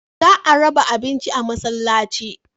Za a raba abincin a masallaci.